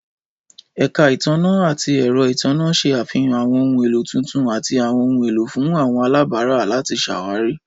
Ẹka itanna ati ẹrọ itanna ṣe afihan àwọn ohun elo tuntun ati àwọn ohun elo fun wọn alabara lati ṣawari.